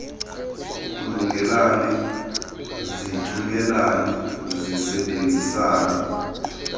kulunge zithungelane zisebenzisane